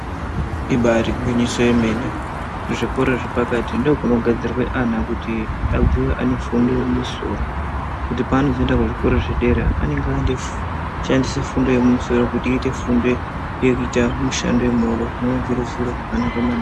Ibari gwinyiso yemene kuzvikoro zvepakati ndiko kunogadzirwa ana kuti abveyo ane fundo ine musoro kuti paanozoenda kuzvikoro zvedera anenge oshandise fundo kuite ite fundo yekuita mushando wemaoko zvinowa zviri zviro zvakanaka maningi.